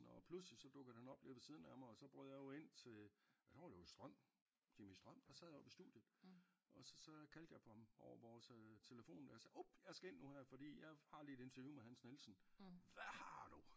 Og pludselig så dukket han op lige ved siden af mig og så brød jeg jo ind til og der var det jo Strøm Jimmy Strøm der sad oppe i studiet og så så kaldte jeg på ham over vores øh telefon jeg sagde up jeg skal ind nu her fordi jeg har lige et interview med Hans Nielsen hvad har du?